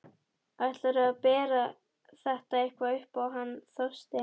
Ætlarðu að bera þetta eitthvað upp á hann Þorstein?